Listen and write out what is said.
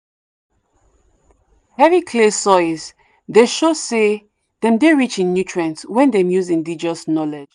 heavy clay soils dey show say dem dey rich in nutrient when dem use indigenous knowledge.